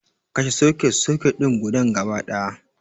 Kashe soket-soket din gudan gaba ɗaya